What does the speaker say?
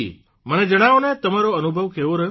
મને જણાવોને તમારો અનુભવ કેવો રહ્યો